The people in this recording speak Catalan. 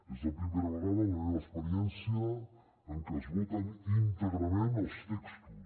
és la primera vegada en la meva experiència en què es voten íntegrament els textos